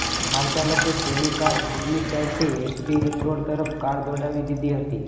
car ચાલકે તેની car ફિલ્મી સ્ટાઇલથી એસપી રિંગરોડ તરફ કાર દોડાવી દીધી હતી